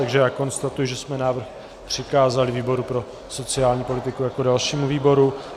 Takže já konstatuji, že jsme návrh přikázali výboru pro sociální politiku jako dalšímu výboru.